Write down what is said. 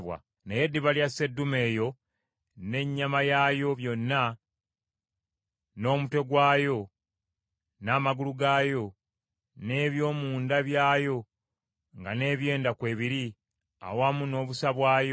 Naye eddiba lya sseddume eyo n’ennyama yaayo yonna, n’omutwe gwayo, n’amagulu gaayo, n’eby’omu nda byayo nga n’ebyenda kwebiri, awamu n’obusa bwayo,